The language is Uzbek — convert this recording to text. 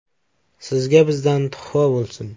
Sizga bizdan tuhfa bo‘lsin!